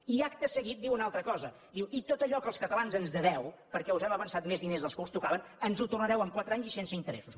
i acte seguit diu una altra cosa diu i tot allò que els catalans ens deveu perquè us hem avançat més diners dels que us tocaven ens ho tornareu en quatre anys i sense interessos